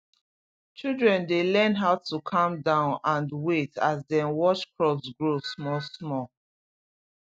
children dey learn how to calm down and wait as dem watch crops grow small small